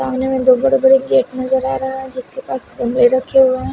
दो बड़े बड़े गेट नजर आ रहा है जिसके पास कमरे रखे हुए हैं।